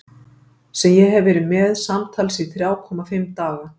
Sem ég hef verið með í samtals þrjá komma fimm daga.